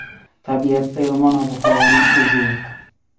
Tabiatda yomon ob-havoning o‘zi yo‘q.